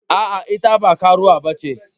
Aa, ita ba karuwa ba ce.